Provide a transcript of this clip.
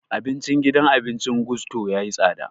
Abincin gidan abincin Gusto ya yi tsada